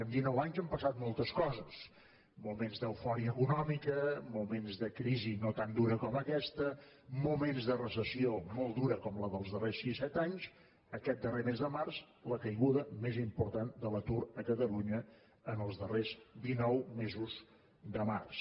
en dinou anys han passat moltes coses moments d’eufòria econòmica moments de crisi no tan dura com aquesta moments de recessió molt dura com la dels darrers sis set anys aquest darrer mes de març la caiguda més important de l’atur a catalunya en els darrers dinou mesos de març